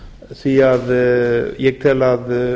því að ég tel að